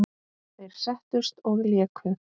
Þeir settust og léku.